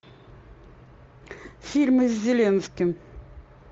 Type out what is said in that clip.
фильмы с зеленским